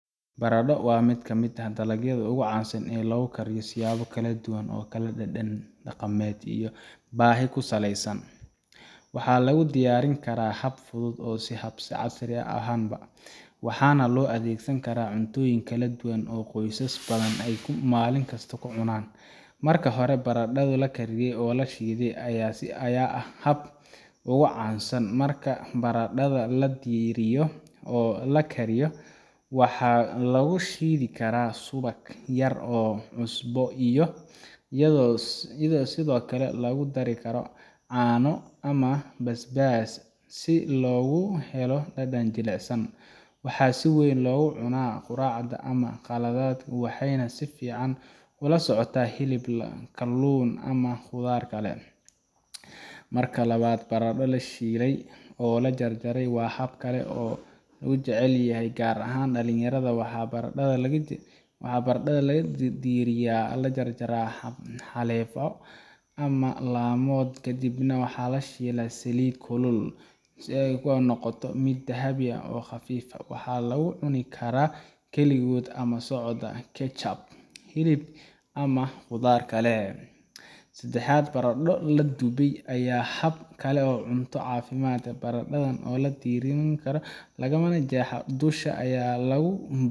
Baradho waa mid ka mid ah dalagyada ugu caansan oo loo kariyo siyaabo kala duwan oo kala dhadhan, dhaqameed, iyo baahi ku saleysan. Waxaa lagu diyaarin karaa hab fudud iyo hab casri ahba, waxaana loo adeegsan karaa cuntooyin kala duwan oo qoysas badani ay maalin kasta cunaan. Marka hore, baradho la kariyey oo la shiiday ayaa ah habka ugu caansan. Marka baradhada la diiriyo oo la kariyo, waxaa lagu shiidi karaa subag yar iyo cusbo, iyadoo sidoo kale lagu dari karo caano ama basbaas si loogu helo dhadhan jilicsan. Waxaa si weyn loogu cunaa quraacda ama qadada, waxayna si fiican ula socotaa hilib, kalluun, ama khudaar kale. Marka labaad, baradho la shiilay oo la jarjaray waa hab kale oo loo jecel yahay gaar ahaan dhalinyarada. Waxaa baradhada la diiriyaa, la jarjaraa xaleefyo ama laamood, kadibna lagu shiilaa saliid kulul ilaa ay ka noqoto mid dahabi ah oo khafiif ah. Waxaa lagu cuni karaa keligood ama la socda ketchup, hilib ama khudaar kale. Saddexaad, baradho la dubay ayaa ah hab kale oo cunto caafimaad leh. Baradhada oo aan la diirin, ayaa laga jeexaa dusha, waxaa lagu